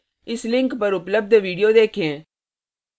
इस लिंक पर उपलब्ध video देखें